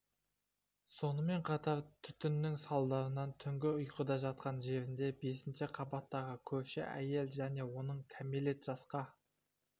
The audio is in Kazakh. сонымен қатар түтіннің салдарынан түнгі ұйқыда жатқан жерінде бесінші қабаттағы көрші әйел мен оның кәмелет жасқа